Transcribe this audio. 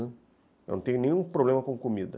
Né, eu não tenho nenhum problema com comida.